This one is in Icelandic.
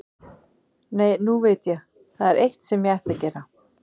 Nei, nú veit ég, það er eitt sem ég ætti að gera.